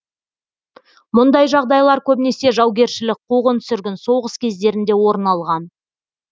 мұндай жағдайлар көбінесе жаугершілік қуғын сүргін соғыс кездерінде орын алған